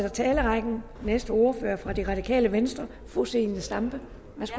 i talerrækken og den næste ordfører er fra det radikale venstre fru zenia stampe værsgo